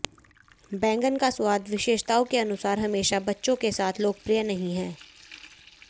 बैंगन का स्वाद विशेषताओं के अनुसार हमेशा बच्चों के साथ लोकप्रिय नहीं है